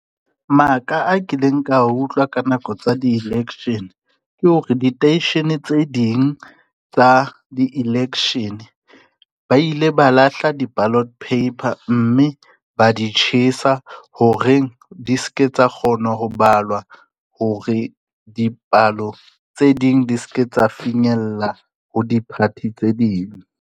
Maka a kileng ka utlwa ka nako tsa di-election ke hore, diteishene tse ding tsa di-election, ba ile ba lahla di-ballot paper mme ba di tjhesa horeng, di ske tsa kgona ho balwa hore dipalo tse ding di ske tsa finyella ho di-party tse ding.